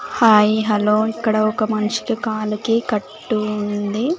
Hi hello ఇక్కడ ఒక మనిషికి కాలుకి కట్టు ఉంది.